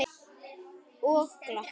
Og glotta.